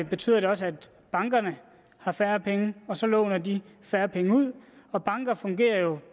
betyder det også at bankerne har færre penge og så låner de færre penge ud og banker fungerer jo